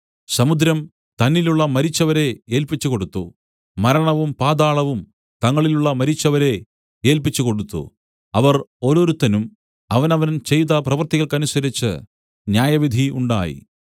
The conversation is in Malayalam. സമുദ്രം തന്നിലുള്ള മരിച്ചവരെ ഏല്പിച്ചുകൊടുത്തു മരണവും പാതാളവും തങ്ങളിലുള്ള മരിച്ചവരെ ഏല്പിച്ചുകൊടുത്തു അവർ ഓരോരുത്തനും അവനവൻ ചെയ്ത പ്രവൃത്തികൾക്കനുസരിച്ച് ന്യായവിധി ഉണ്ടായി